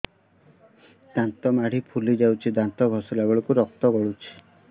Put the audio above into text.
ଦାନ୍ତ ମାଢ଼ୀ ଫୁଲି ଯାଉଛି ଦାନ୍ତ ଘଷିଲା ବେଳକୁ ରକ୍ତ ଗଳୁଛି